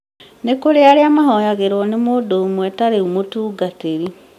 nĩkũrĩ na arĩa mahoyagĩrwo nĩ mũndũ ũmwe ta rĩu mũtũngatĩrĩ